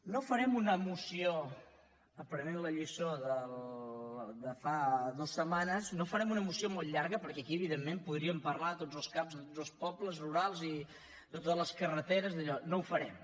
no farem una moció aprenent la lliçó de fa dues setmanes molt llarga perquè aquí evidentment podríem parlar de tots els cap de tots els pobles rurals i de totes les carreteres i dallò no ho farem